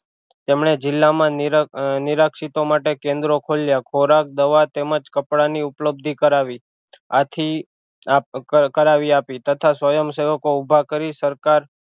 તેમણે જિલ્લા માં નીરખ નિરખશીતો માટે કેન્દ્રો ખોલ્યા ખોરાક દવા તેમજ કપડાં ની ઉપલબ્ધિ કરાવી આથી કરાવી આપી તથા સ્વયં સેવકો ઊભા કરી સરકાર